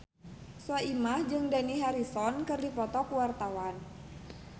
Soimah jeung Dani Harrison keur dipoto ku wartawan